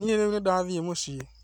Niĩ rĩu nĩndathiĩ mũciĩ